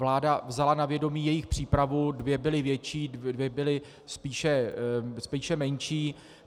Vláda vzala na vědomí jejich přípravu, dvě byly větší, dvě byly spíše menší.